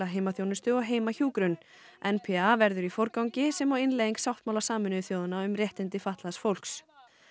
heimaþjónustu og heimahjúkrun n p a verður í forgangi sem og innleiðing sáttmála Sameinuðu þjóðanna um réttindi fatlaðs fólks